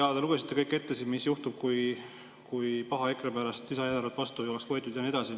Jaa, te lugesite ette kõik, mis oleks juhtunud, kui paha EKRE pärast lisaeelarvet vastu ei oleks võetud jne.